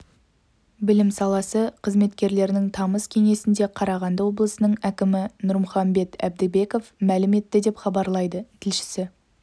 білім саласы қызметкерлерінің тамыз кеңесінде қарағанды облысының әкімі нұрмұхамбет әбдібеков мәлім етті деп хабарлайды тілшісі